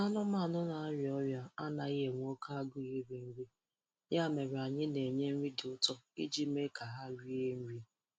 Anumanu na-arịa ọrịa anaghị enwe oke agụụ iri nri, ya mere anyị na-enye nri dị ụtọ iji mee ka ha rie nri